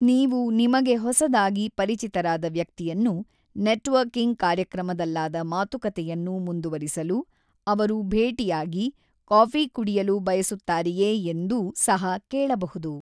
ನೀವು ನಿಮಗೆ ಹೊಸದಾಗಿ ಪರಿಚಿತರಾದ ವ್ಯಕ್ತಿಯನ್ನು, ನೆಟ್ವರ್ಕಿಂಗ್ ಕಾರ್ಯಕ್ರಮದಲ್ಲಾದ ಮಾತುಕತೆಯನ್ನು ಮುಂದುವರಿಸಲು ಅವರು ಭೇಟಿಯಾಗಿ, ಕಾಫಿ ಕುಡಿಯಲು ಬಯಸುತ್ತಾರೆಯೇ ಎಂದೂ ಸಹ ಕೇಳಬಹುದು.